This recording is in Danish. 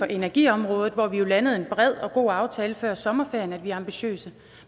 energiområdet hvor vi jo landede en bred og god aftale før sommerferien at vi er ambitiøse